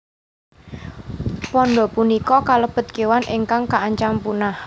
Panda punika kalebet kéwan ingkang kaancam punah